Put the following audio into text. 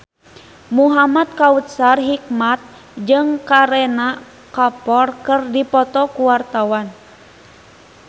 Muhamad Kautsar Hikmat jeung Kareena Kapoor keur dipoto ku wartawan